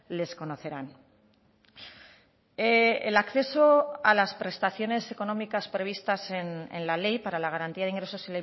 les conocerán el acceso a las prestaciones económicas previstas en la ley para la garantía de ingresos